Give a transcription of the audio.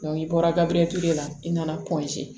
i bɔra gabiritigɛ la i nana